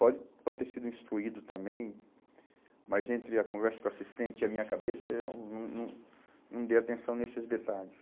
Pode pode ter sido instruído também, mas entre a conversa com o assistente e a minha cabeça, eu não, não, não dei atenção nesses detalhes.